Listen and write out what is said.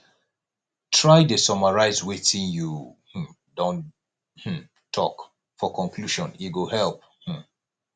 try dey summarize wetin you um don um talk for conclusion e go help um